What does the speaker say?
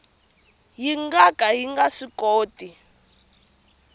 nga ka yi nga swikoti